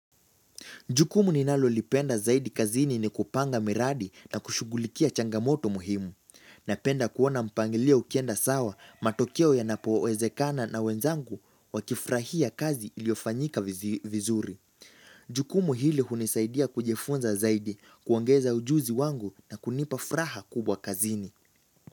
Jukumu ninalolipenda zaidi kazini ni kupanga miradi na kushugulikia changamoto muhimu. Napenda kuona mpangilio ukienda sawa matokeo ya napowezekana na wenzangu wakifurahia kazi iliofanyika vizuri. Jukumu hili hunisaidia kujifunza zaidi, kuongeza ujuzi wangu na kunipa furaha kubwa kazini.